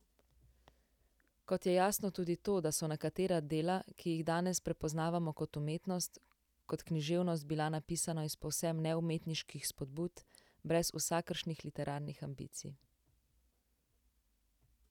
Kot je jasno tudi to, da so nekatera dela, ki jih danes prepoznavamo kot umetnost, kot književnost bila napisana iz povsem neumetniških spodbud, brez vsakršnih literarnih ambicij.